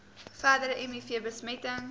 verdere miv besmetting